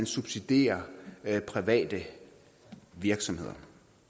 subsidiere private virksomheder